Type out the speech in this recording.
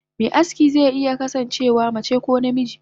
Me aski ze iya kasan cewa mace ko namiji.